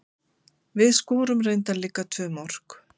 Við skorum reyndar líka tvö mörk.